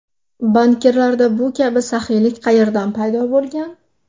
Bankirlarda bu kabi saxiylik qayerdan paydo bo‘lgan?